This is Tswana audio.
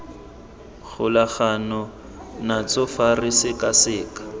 golagana natso fa re sekaseka